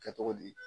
Kɛ cogo di